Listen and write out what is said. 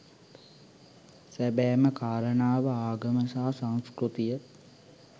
සැබෑම කාරණාව ආගම සහ සංස්කෘතිය